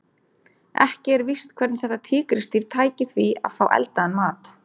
Ekki er víst hvernig þetta tígrisdýr tæki því að fá eldaðan mat.